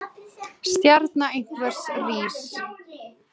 Stjarna einhvers rís